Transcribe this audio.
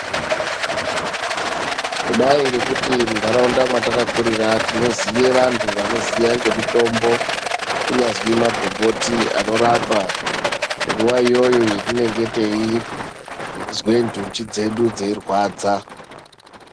Kudai ngekuti muntaraunda mwatakakurira tinoziye vantu vanoziye ngemitombo kunyazwi magomboti anorapa nguwa iyoyo yatinenge teizwe ndunji dzedu dzeirwadza.